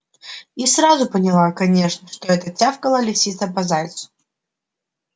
и сразу поняла конечно что это тявкала лисица по зайцу